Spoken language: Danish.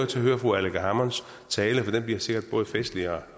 til at høre fru aleqa hammonds tale for den bliver sikkert både festlig og